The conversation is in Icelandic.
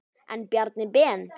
En Bjarni Ben.